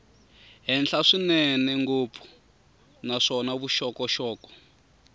henhla swinene ngopfu naswona vuxokoxoko